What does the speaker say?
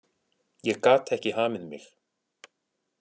Ég gat ekki hamið mig.